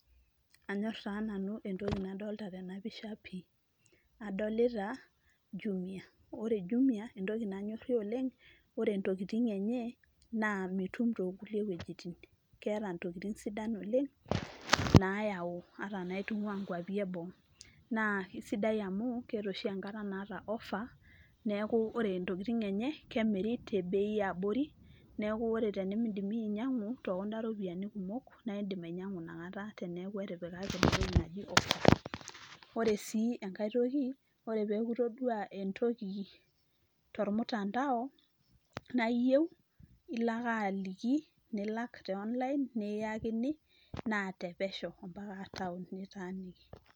Anyorr taa nanu entoki nadolita tena pisha pii. Adolita jumia ore jumia entoki nanyorie oleng' entokitin enye naa mitum too kulie wojitin. Keeta intokitin sidan oleng' nayau ata inaitungua inkuapi enoo. Naa kesidai oshi amu oshi enkata naa ofa neeku ore intokitin enye kemiri tebei eabori, neeaku tenimiidim iyie ainyiangu tekunda ropiani kumok neeaku iidim ainyiangu teneeku etipikaki entoki naji offer. Ore sii engae toki ore peeku itodua entoki tomutandao naa iyieu naa ilo ake aliki nilak te on-line nikiyakini naa tepesho mbaka intaonini nitaanikiki.